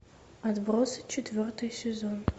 отбросы четвертый сезон